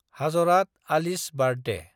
हाजरात Ali's birthday